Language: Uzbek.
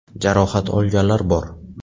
Jarohat olganlar bor.